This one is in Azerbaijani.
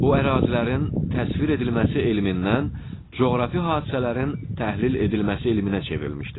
O ərazilərin təsvir edilməsi elmindən coğrafi hadisələrin təhlil edilməsi elminə çevrilmişdir.